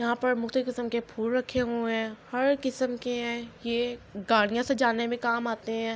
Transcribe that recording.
ےاحا پر (پع) مءکحتالیف کیسام کع پحہہل راکحع حءعے حای، حار کیسام کع حای ےع گادیےا ساجانع کع کام اتع حای۔.